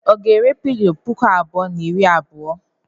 Ọ ga-ere pilọ puku abụọ na iri abuo?